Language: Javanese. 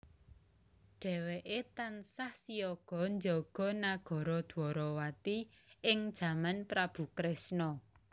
Dhéwéké tansah siyaga njaga nagara Dwarawati ing jaman Prabu Kresna